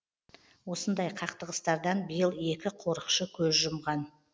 осындай қақтығыстардан биыл екі қорықшы көз жұмған